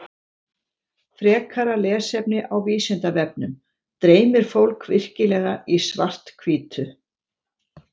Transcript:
Frekara lesefni á Vísindavefnum Dreymir fólk virkilega í svart-hvítu?